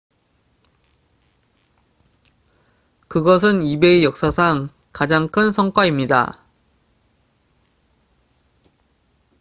그것은 ebay 역사상 가장 큰 성과입니다